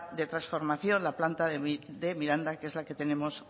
de transformación la planta de miranda que es la que tenemos